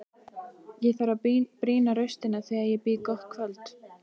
Ég þarf að brýna raustina þegar ég býð gott kvöld.